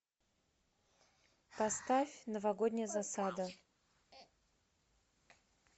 поставь новогодняя засада